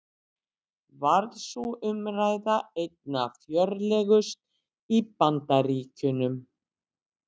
Varð sú umræða einna fjörlegust í Bandaríkjunum.